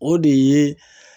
O de ye